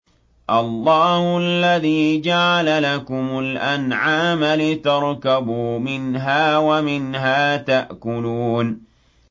اللَّهُ الَّذِي جَعَلَ لَكُمُ الْأَنْعَامَ لِتَرْكَبُوا مِنْهَا وَمِنْهَا تَأْكُلُونَ